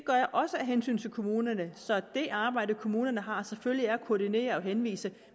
jeg også af hensyn til kommunerne sådan at det arbejde kommunerne har selvfølgelig består i at koordinere og henvise